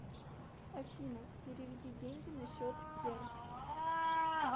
афина переведи деньги на счет еркц